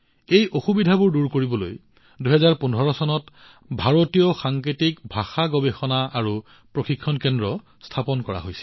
এই অসুবিধাবোৰ দূৰ কৰিবলৈ ২০১৫ চনত ভাৰতীয় সাংকেতিক ভাষা গৱেষণা আৰু প্ৰশিক্ষণ কেন্দ্ৰ স্থাপন কৰা হৈছিল